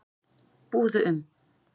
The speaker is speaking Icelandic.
Búðu um